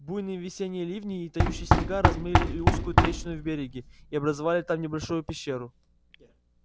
буйные весенние ливни и тающие снега размыли узкую трещину в береге и образовали там небольшую пещеру